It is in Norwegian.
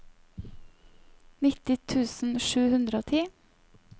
nitti tusen sju hundre og ti